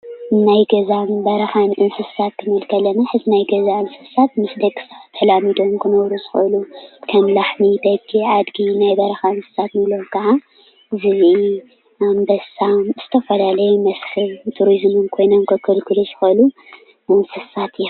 ናይ ገዛን በረኻን እንስሳ ኽንብል ከለና ሓዚ ናይ ገዛ እንስሳት ምስ ደቂ ሰባት ተላሚዳሞ ኽነብሩ ዝኽእሉ ኸም ላሕሚ፣ በጊዕ፣ ኣዴጊ ናይ በረኻ ኸዓ ዝብኢ ፣ ኣንበሳ ዝተፈላለዩ ኣብ በረኻ ዝነብሩ እንስሳት እዮሞ።